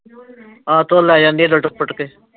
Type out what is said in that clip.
ਆਹੋ ਤੇ ਓਹ ਲੈ ਜਾਂਦੀ ਲੁੱਟ ਪੁੱਟ ਕੇ